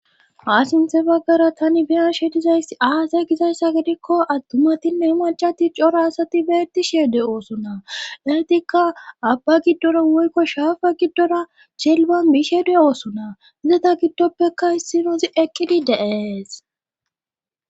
Ha sinthe baggara tani biyashe dizayssi aasay gizayssa gidikko attumatinne macati cora asati beeti sheede oosona laytikka abba giddora woykko shaafa giddora celban biisheede oosona izata giddoppekka hissinozi eqqidi deees.